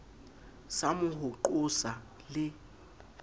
soma ho mo qosa le